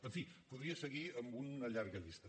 en fi podria seguir amb una llarga llista